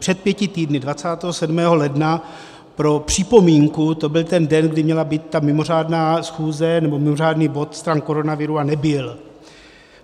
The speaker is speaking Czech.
Před pěti týdny, 27. ledna - pro připomínku, to byl ten den, kdy měla být ta mimořádná schůze, nebo mimořádný bod stran koronaviru, a nebyl.